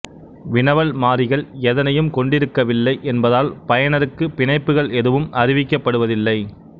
வினவல் மாறிகள் எதனையும் கொண்டிருக்கவில்லை என்பதால் பயனருக்கு பிணைப்புகள் எதுவும் அறிவிக்கப்படுவதில்லை